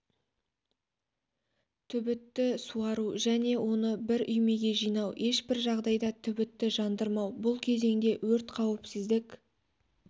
түбітті суару және оны бір үймеге жинау ешбір жағдайда түбітті жандырмау бұл кезеңде өрт қауіпсіздік